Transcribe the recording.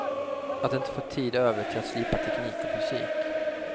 Att inte få tid över till att slipa teknik och fysik.